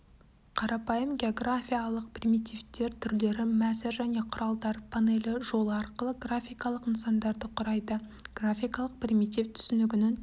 қарапайым географиялық примитивтер түрлері мәзір және құралдар панелі жолы арқылы графикалық нысандарды құрайды графикалық примитив түсінігінің